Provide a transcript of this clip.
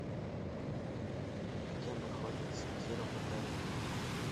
где находится тир в отеле